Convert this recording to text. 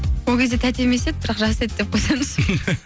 ол кезде тәте емес еді бірақ жас еді деп қойсаңызшы